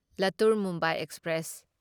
Latur Mumbai express